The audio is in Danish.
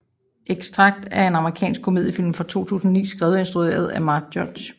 Extract er en amerikansk komediefilm fra 2009 skrevet og instrueret af Mike Judge